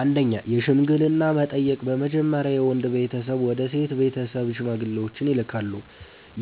1) የሽምግልና እና መጠየቅ በመጀመሪያ የወንድ ቤተሰብ ወደ ሴት ቤተሰብ ሽማግሌዎችን ይልካሉ።